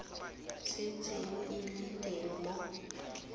setseng e le teng mo